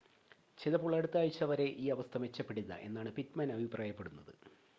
ചിലപ്പോൾ അടുത്ത ആഴ്ച്ച വരെ ഈ അവസ്ഥ മെച്ചപ്പെടില്ല എന്നാണ് പിറ്റ്മാൻ അഭിപ്രായപ്പെടുന്നത്